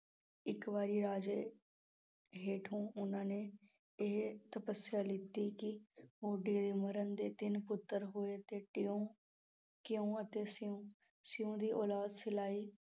ਇੱਕ ਵਾਰੀ ਰਾਜੇ ਹੇਠੋਂ ਉਹਨਾਂ ਨੇ ਇਹ ਤਪੱਸਿਆ ਲੈਤੀ ਕਿ, ਤਿੰਨ ਪੁੱਤਰ ਹੋਏ 'ਤੇ ਟਿਉਂ, ਕਿਉਂ ਅਤੇ ਸਿਉਂ, ਸਿਉਂ ਦੀ ਉਲਾਦ ਸਿਲਾਈ।